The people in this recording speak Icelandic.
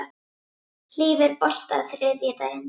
Hlíf, er bolti á þriðjudaginn?